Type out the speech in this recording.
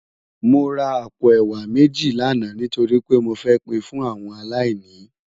Mó rá àpó èwá méji làná nitóri pé mó fè pin fún áwòn àláìní